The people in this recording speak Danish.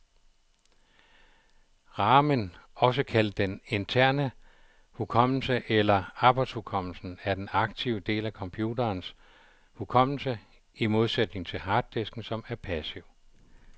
Ramen, også kaldet den interne hukommelse eller arbejdshukommelsen, er den aktive del af computerens hukommelse, i modsætning til harddisken, som er passiv.